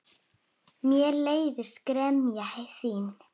Mér leiðist gremja þín.